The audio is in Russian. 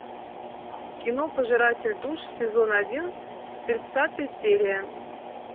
кино пожиратель душ сезон один тридцатая серия